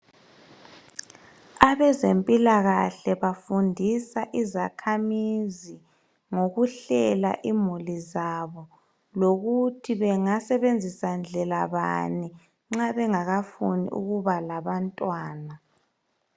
Abezempilakahle bafundisa izakhamizi ngokuhlela imuli zabo lokuthi bengasebenzisa ndlela bani nxa benagakafuni ukuba labantwana